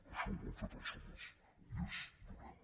això ho han fet els homes i és dolent